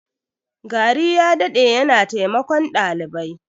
Gari ya dade yana taimakon dalibai.